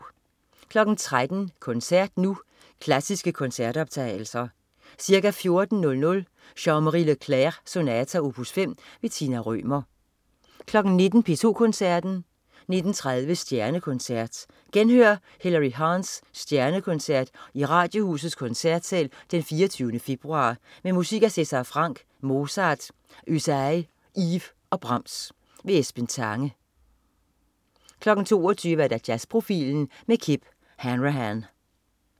13.00 Koncert Nu. Klassiske koncertoptagelser. Ca. 14.00 Jean-Marie Leclair: Sonata, opus 5. Tina Rømer 19.00 P2 Koncerten. 19.30 Stjernekoncert. Genhør Hillery Hahns Stjernekoncert i Radiohusets Koncertsal d. 24. februar, med musik af César Franck, Mozart, Ysaÿe, Ives og Brahms. Esben Tange 22.00 Jazzprofilen med Kip Hanrahan